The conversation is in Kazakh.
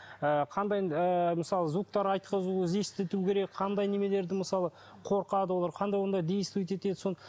ы мысалы звуктар айтқызу қандай неменелерді мысалы қорқады олар қандай онда действовать етеді соны